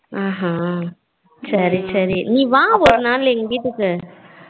ஆஹ் ஆஹ் சரி சரி நீ வா ஒரு நாள் எங்க வீட்டுக்கு.